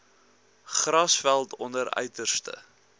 grasveld onder uiterste